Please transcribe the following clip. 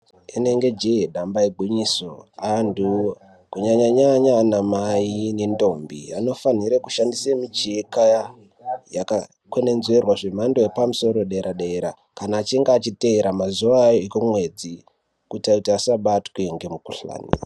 Inenge jee damba igwinyiso antu kanyanya-nyanya anamai nendombi anofanhire kushandise micheka yakakwenenzverwa zvemhando yepamusoro yedera-dera kana achinge achiteera mazuva ekumwedzi kuita kuti asabatwe ngemikuhlani.